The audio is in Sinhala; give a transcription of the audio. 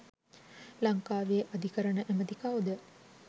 ලංකාවේ අධිකරණ ඇමති කවුද.